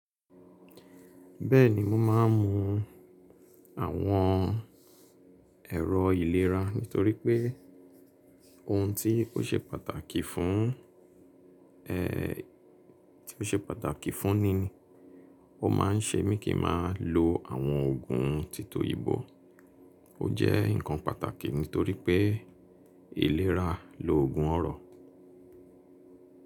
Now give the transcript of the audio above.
Bẹ́ẹ̀ni mo máa ń mú àwọn ẹ̀rọ ìlera nítorí pé ohun tí ó ṣe pàtàkì fún, tí ó ṣe pàtàkì fún ni ni o máa ń ṣe mí kí máa lo àwọn oògùn títòyìnbọ̀. O jẹ́ nǹkan pàtàkì nítorí pé ìlera lo ògùn ọrọ̀.